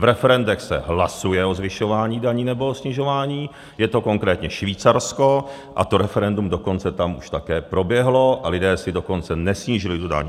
V referendech se hlasuje o zvyšování daní nebo o snižování, je to konkrétně Švýcarsko, a to referendum dokonce tam už také proběhlo, a lidé si dokonce nesnížili tu daň.